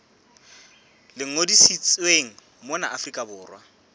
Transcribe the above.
le ngodisitsweng mona afrika borwa